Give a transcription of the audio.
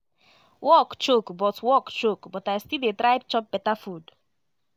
work choke but work choke but i still dey try chop beta food